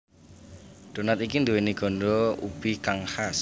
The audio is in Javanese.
Donat iki nduwèni ganda ubi kang khas